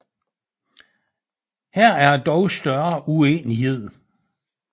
Her er der dog større uenighed